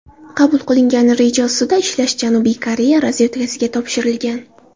Qabul qilingan reja ustida ishlash Janubiy Koreya razvedkasiga topshirilgan.